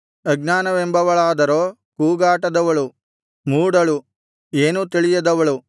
ಅಜ್ಞಾನವೆಂಬವಳಾದರೋ ಕೂಗಾಟದವಳು ಮೂಢಳು ಏನೂ ತಿಳಿಯದವಳು